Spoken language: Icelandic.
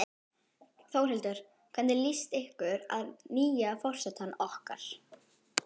Þórhildur: Hvernig líst ykkur að nýja forsetann okkar?